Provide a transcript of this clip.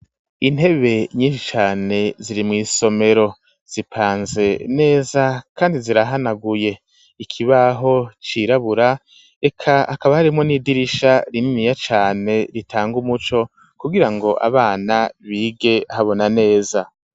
Intebe nyishi cane ziri mw'isomero zipanze neza kandi zirahanaguye ikibaho cirabura eka hakaba harimwo n'idirisha rininiya cane ritanga umuco kugira ngo abana bige habona neza.